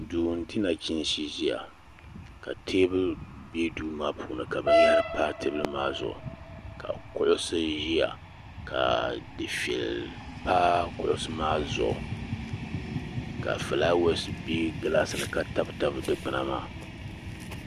duu n di nachiinsi ʒiya ka teebuli bɛ duu maa puuni ka binyahari pa teebuli maa zuɣu ka kuɣusi ʒiya ka dufɛli pa kuɣusi maa zuɣu ka fulaawɛs bɛ gilaas ni ka tabi tabi dikpuna maa